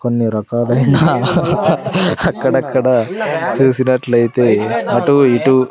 కొన్ని రకాలైన అక్కడక్కడ చూసినట్లయితే అటు ఇటు --